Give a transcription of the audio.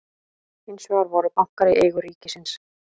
hins vegar voru bankar í eigu ríkisins